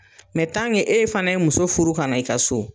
e fana ye muso furu ka na i ka so